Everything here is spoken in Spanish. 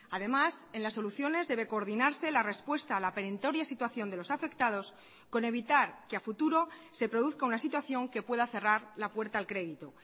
además en las soluciones debe coordinarse la respuesta a la perentoria situación de los afectados con evitar que a futuro se produzca una situación que pueda cerrar la puerta al crédito